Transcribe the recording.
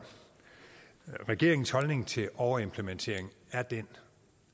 regeringens holdning til overimplementering er den